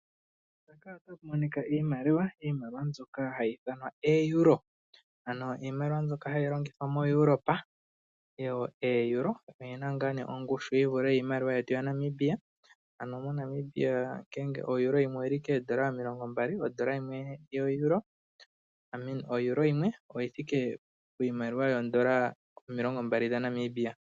Iimaliwa mbyoka hayi ithanwa ooEuro, ano iimaliwa mbyoka hayi longithwa miilongo yomoEuropa. OoEuro odhi na ongushu yi vule iimaliwa yetu yaNamibia. MoNamibia oodola omilongo mbali odhi thike poEuro yimwe.